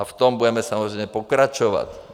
A v tom budeme samozřejmě pokračovat.